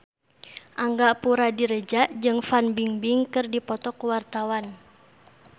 Angga Puradiredja jeung Fan Bingbing keur dipoto ku wartawan